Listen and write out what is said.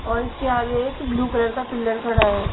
और इसके आगे एक ब्लू कलर का पिलर खड़ा है.